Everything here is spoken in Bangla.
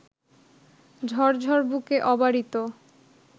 ঝরঝর বুকে অবারিত